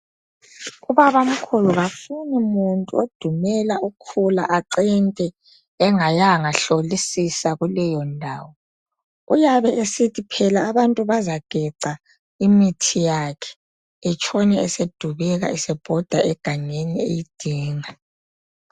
Ubabamkhulu kafuni muntu odumela ukhula acente engayanga hlolisisa kuleyo ndawo, uyabe esithi phela abantu bazageca imithi yakhe etshone esedubeka esebhoda egangeni eyidinga.